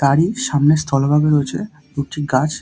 তারই সামনে স্থলভাগ রয়েছে দুটি গাছ।